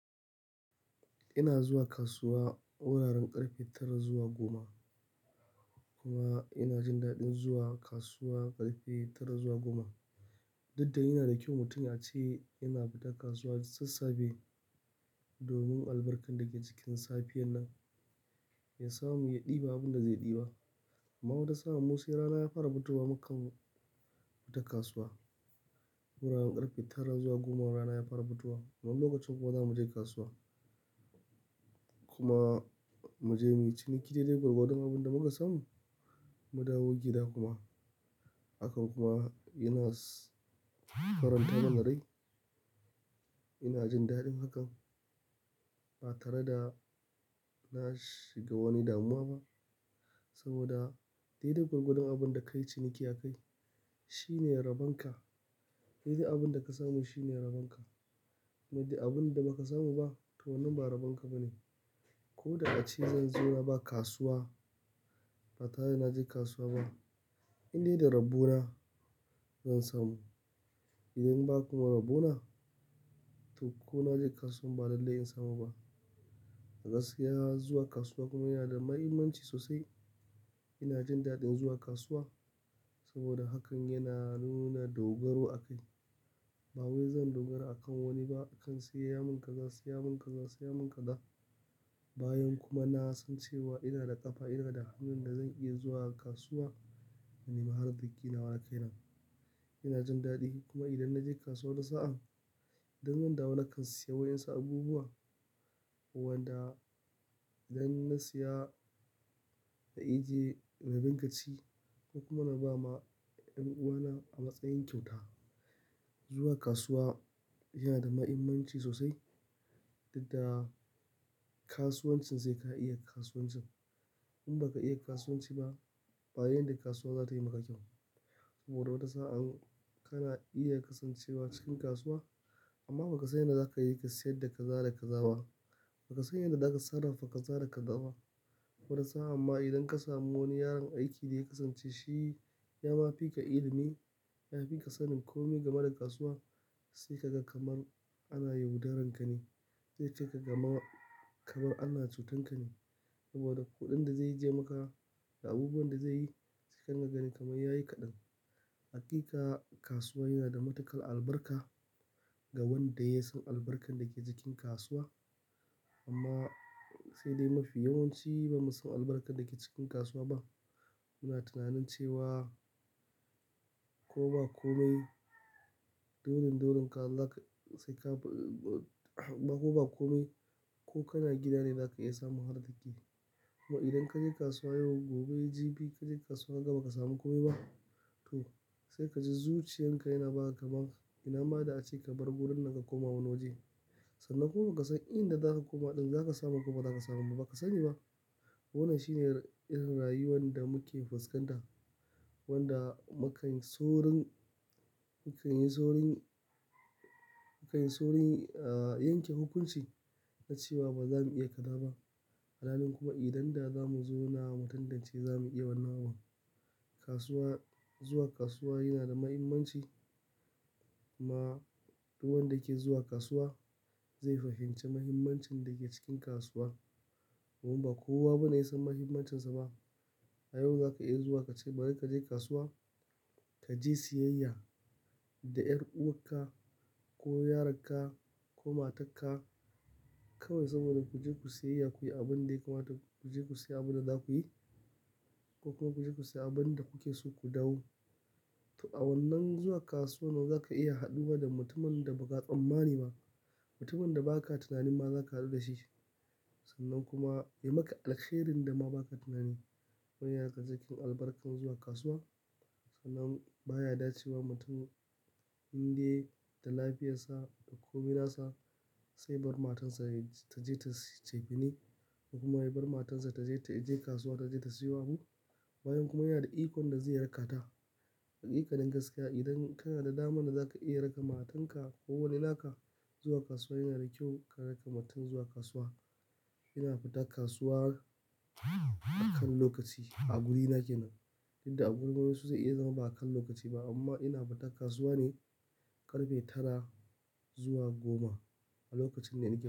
Ina zuwa kasuwa wuraren ƙarfe tara zuwa goma. Kuma ina jin daɗin zuwa kasuwa ƙarfe tara zuwa goma. Duk da yana da kyau mutum yace yana fita kasuwa sassafe domin albarkan da ke cikin safiyan nan ya samu ya ɗibi abunda zai ɗiba. Amma wata sa'an, Mu sai rana ya fara fitowa mukan fita kasuwa. Wuraren ƙarfe tara zuwa goma rana ya fara fitowa. Amman lokacin kuwa zamu je kasuwa kuma muje muyi ciniki dai dai gwargwadon abunda muka samu, mu dawo gida kuma. Hakan kuma yana faranta mana rai. Ina jin daɗin hakan ba tare da na shiga wani damuwa ba saboda dai da gwargwadon abunda kayi ciniki a kai shine rabonka. Dai dai abunda ka samu shine rabonka. Kamar yanda abun da baka samu ba to wannan ba rabonka ba ne. Ko da ace zan zo na ba kasuwa ba tare da naje kasuwa ba in dai da dabbona zan samu. Idan ba kuma rabona to ko na je kasuwan ba lallai in samu ba. A gaskiya zuwa kasuwa kuma yana da mahimmanci sosai. Ina jin daɗin zuwa kasuwa saboda hakan yana nuna dogaro a kai. Ba wai zan dogara akan wani ba. Akan sai mun kaza, sai mun kaza, sai mun kaza. Bayan kuma nasan cewa ina da ƙafa, ina da hannun da zan iya zuwa kasuwa. Mani maharar dakina wakan nan. Ina jin daɗi. Kuma idan naje kasuwa wani sa'a, idan zan dawo nakan siya wa 'yansu abubuwa wanda idan na siya na iya je na dinga ci ko kuma na ba ma 'yan uwana a matsayin kyauta. Zuwa kasuwa yana da mahimmanci sosai. Dukda kasuwancin sai ka iya kasuwancin. In baka iya kasuwanci ba, ba wani yanda kasuwa za ta yi maka kyau. Saboda wata sa'an kana iya kasancewa cikin kasuwa amma bakasan yanda zaka yi kasayarda kaza da ka za ba. Bakasan yanda zaka sarrafa kaza da ka za ba. Wata sa'a ma idan ka samu wani yaron aiki da ya kasance shi ya mafi ka ilimi, ya fi ka sanin komai game da kasuwa sai kaga kamar ana yaudarar ka ne. Zai ce ka gama kamar ana cutar ka ne saboda kuɗin da zai je maka da abubuwan da zai yi sai kaga gani kamar yayi kaɗan. Hakika kasuwa yana da matukar albarka ga wanda ya san albarkan da ke cikin kasuwa. Amma sai dai mafi yawanci bamu san albarkan da ke cikin kasuwa ba. Muna tunanin cewa ko ba komai, dorin dorin ka Allah sai ka ba ko ba komai. Ko kana gida ne zaka iya samun har da yake. Kuma idan kaje kasuwa yau, gobe jibi kaje kasuwa gaba baka samu komai ba. To sai kaji zuciyan ka yana ba ka kaman. Ina ma da ace ka bar gurin nanka koma wani waje. Sannan kuma kasan inda zaka koma ɗin zaka samu ko bazaka samu ba bakasani ba. Wannan shine irin rayuwan da muke fuskanta wanda makan sorin, mukan yi sorin, mukan yi sorin yanke hukunci na cewa bazamu iya kazaba. Alhalin kuma idan da zamu zo na mu tantance zamu iya wannan abun. Kasuwa, zuwa kasuwa yana da mahimmanci ma duk wanda ke zuwa kasuwa zai fahimci mahimmancin da ke cikin kasuwa. Domin ba kowa ba ne ya san mahimmancinsa ba. A yau za ka iya zuwa kace bari kaje kasuwa, kaje siyayya da 'yar uwarka ko yaronka ko matarka kawai saboda ku je ku siyayya. Ku yi abin da ya kamata ku je ku siya abunda za ku yi ko kuma ku je ku siya abunda kuke so ku dawo. To a wannan zuwa kasuwa nawa za ka iya haduwa da mutumin da baka tsammani ba. Mutumin da baka tunanin ma za ka haɗu da shi sannan kuma ya maka alkhairin da ma baka tunani. Wannan yana cikin albarkan zuwa kasuwa. Sannan baya dace wa mutum in dai da lafiyarsa da komina sa sai bar matan sa ta je ta siyo cefani kuma ya bar matan sa taje ta je kasuwa taje ta siyo abu bayan kuma yana da ikon da zai raka ta. Hakika nin gaskiya idan kana da damar da zaka iya raka matan ka ko wani naka zuwa kasuwa yana da kyau ka raka mutum zuwa kasuwa. Ina fita kasuwa akan lokaci a guri na ke nan. Dukda a gurin wani su zai iya zama ba akan lokaci ba amma ina fita kasuwa ne ƙarfe tara zuwa goma a lokacin ne nake.